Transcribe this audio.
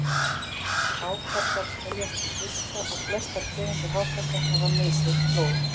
Hákarlar teljast til fiska og flestar tegundir hákarla hafa misheitt blóð.